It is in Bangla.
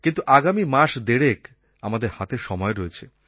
কিন্তু আগামী মাস দেড়েক আমাদের হাতে সময় রয়েছে